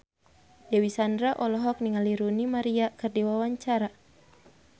Dewi Sandra olohok ningali Rooney Mara keur diwawancara